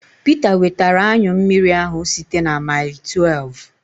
Peter wetara anyụ mmiri ahụ site na maịl tuev